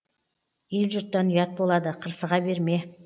ел жұрттан ұят болады қырсыға берме